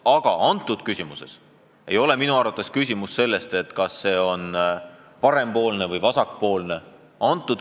Aga praegu ei ole minu arust küsimus selles, kas oled parempoolne või vasakpoolne.